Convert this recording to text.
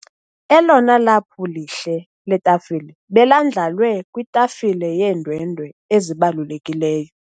Elona laphu lihle letafile belandlalwe kwitafile yeendwendwe ezibalulekileyo.